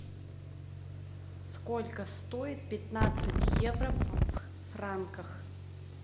сколько стоит пятнадцать евро в франках